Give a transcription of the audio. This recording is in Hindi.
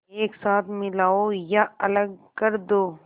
एक साथ मिलाओ या अलग कर दो